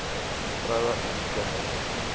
vroue en kinders